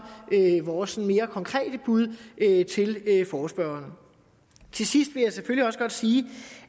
vores sådan mere konkrete bud til forespørgerne til sidst vil jeg selvfølgelig også godt sige